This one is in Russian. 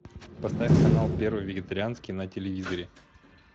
поставь канал первый вегетарианский на телевизоре